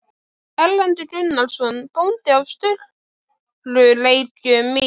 Erlendur Gunnarsson bóndi á Sturlureykjum í